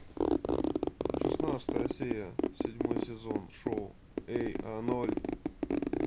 шестнадцатая серия седьмой сезон шоу эй арнольд